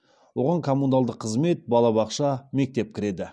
оған коммуналдық қызмет балабақша мектеп кіреді